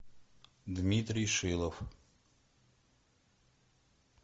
дмитрий шилов